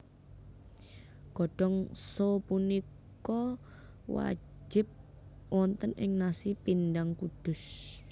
Godhong so pupunika wajib wonten ing nasi pindang Kudus